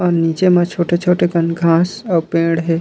अऊ नीचे म छोटे-छोटे कन घाँस अऊ पेड़ हे।